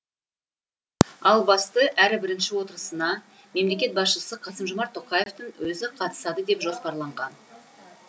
ал басты әрі бірінші отырысына мемлекет басшысы қасым жомарт тоқаевтың өзі қатысады деп жоспарланған